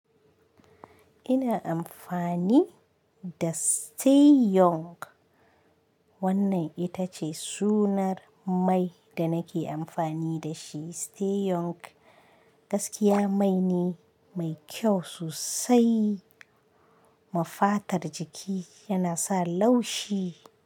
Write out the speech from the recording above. Ina amfani da Stay Young. Wannan ita ce sunar mai da nake amfani da shi Stay Young. Gaskiya mai ne mai kyau sosai, mafatar jiki yana sa laushi.